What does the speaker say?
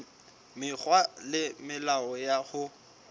mekgwa le melao ya ho